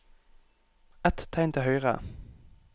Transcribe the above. Ett tegn til høyre